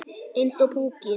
Eins og púki.